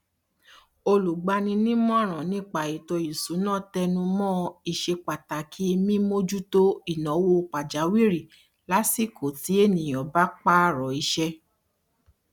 olùgbanímọràn nípa ètò ìṣúná tẹnu mọ ìṣepàtàkì mímójútó ìnáwó pàjáwìrì lásìkò tí ènìyàn bá pààrọ iṣẹ